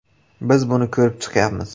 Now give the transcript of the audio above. Biz buni ko‘rib chiqyapmiz.